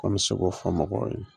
An bɛ se k'o fɔ mɔgɔw ye.